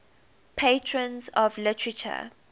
patrons of literature